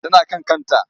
Tana kan kanta.